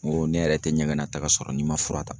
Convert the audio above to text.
N ko ne yɛrɛ tɛ ɲɛgɛn nata sɔrɔ n'i ma fura ta.